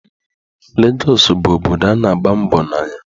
Legọsụ bụ obodo a na-agba mbọ na ya.